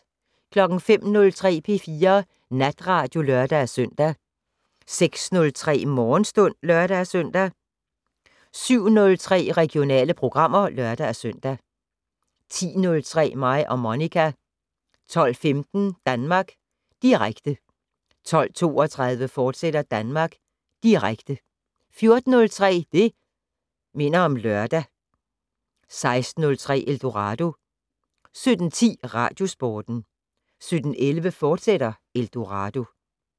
05:03: P4 Natradio (lør-søn) 06:03: Morgenstund (lør-søn) 07:03: Regionale programmer (lør-søn) 10:03: Mig og Monica 12:15: Danmark Direkte 12:32: Danmark Direkte, fortsat 14:03: Det' Minder om Lørdag 16:03: Eldorado 17:10: Radiosporten 17:11: Eldorado, fortsat